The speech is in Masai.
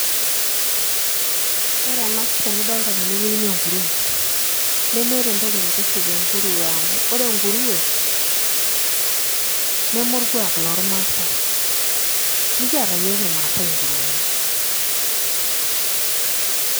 Ore ena pisha nidolta tenewuei naa enkurue nemeeta entoki naitiship enkuruwe amu ore enkuruwe neme orkuak lormaasai mikiata iyiook irmaasai nkuruweni.